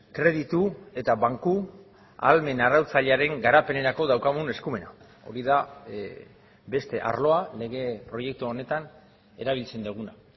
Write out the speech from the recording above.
kreditu eta banku ahalmen arautzailearen garapenerako daukagun eskumena hori da beste arloa lege proiektu honetan erabiltzen duguna